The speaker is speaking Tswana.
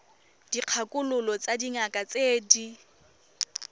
dikgakololo tsa dingaka tse di